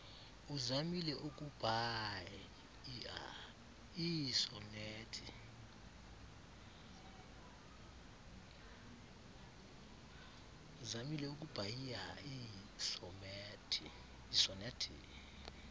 uzamile ukubhaia iisonethi